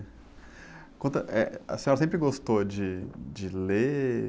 Conta, eh, a senhora sempre gostou de, de ler?